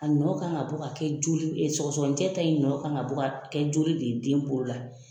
A nɔ kan ka bɔ ka kɛ joli sɔgsɔgɔnin jɛ ta ye nɔ kan ka kɛ joli de ye, den bolo la.